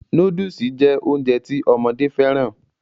Nóódùsì jẹ́ Ounjẹ ti ọmọdé fẹ́ràn